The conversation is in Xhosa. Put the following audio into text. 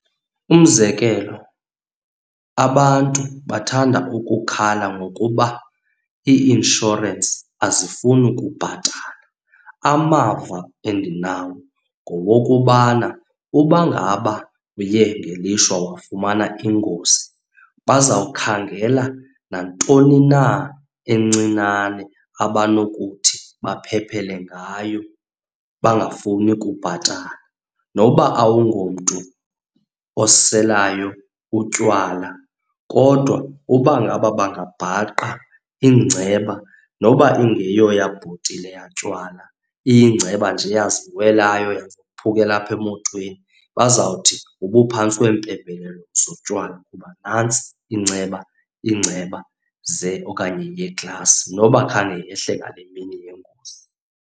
Umzekelo, abantu bathanda ukukhala ngokuba ii-inshorensi azifuni ukubhatala. Amava endinawo ngowokubana uba ngaba uye ngelishwa wafumana ingozi, bazawukhangela nantoni na encinane abanokuthi baphephele ngayo bangafuni kubhatala. Noba awungomntu oselayo utywala kodwa uba ngaba bangabhaqa iingceba noba ingeyoyabhotile yatywala, iyingceba nje eyaziwelayo yaze yaphukela apha emotweni bazawuthi ubuphantsi kwempembelelo zotywala kuba nantsi inceba, ingceba ze okanye yeeglasi noba khange yehle ngale mini yengozi.